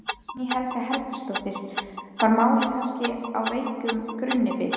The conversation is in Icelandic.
Guðný Helga Herbertsdóttir: Var málið kannski á veikum grunni byggt?